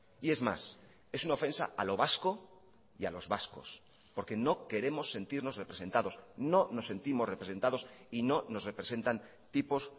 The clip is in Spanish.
y es más es una ofensa a lo vasco y a los vascos porque no queremos sentirnos representados no nos sentimos representados y no nos representan tipos